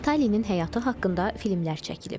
Vitalinin həyatı haqqında filmlər çəkilib.